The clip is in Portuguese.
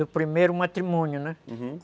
Do primeiro matrimônio, né? Uhum